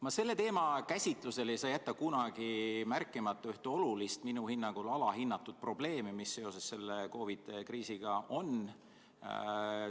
Ma selle teema käsitlusel ei saa jätta kunagi märkimata ühte olulist, minu hinnangul alahinnatud probleemi, mis seoses selle COVID-i kriisiga on.